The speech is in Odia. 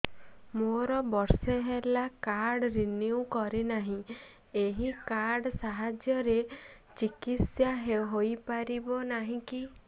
ମୋର ବର୍ଷେ ହେଲା କାର୍ଡ ରିନିଓ କରିନାହିଁ ଏହି କାର୍ଡ ସାହାଯ୍ୟରେ ଚିକିସୟା ହୈ ପାରିବନାହିଁ କି